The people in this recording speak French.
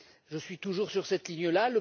Je suis toujours sur cette ligne là.